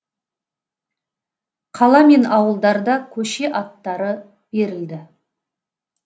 қала мен ауылдарда көше аттары берілді